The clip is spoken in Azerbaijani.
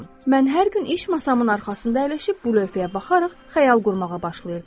Mən hər gün iş masamın arxasında əyləşib bu lövhəyə baxaraq xəyal qurmağa başlayırdım.